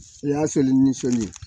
I y'a seli ni soli ye